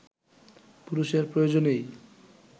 পুরুষের প্রয়োজনেই